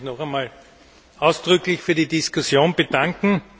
Ich möchte mich noch einmal ausdrücklich für die Diskussion bedanken.